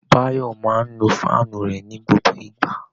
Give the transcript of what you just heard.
Báyọ̀ máa ń nu fáànù rẹ̀ ní gbogbo ìgbà